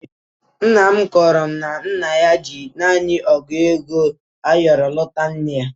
Nna m kọọrọ m na nna ya ji naanị ọ́gụ̀ ego ayọrọ nụta nne ya.